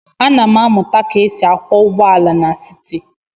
Ana m amụta ka e si akwọ ụgbọala n'siti.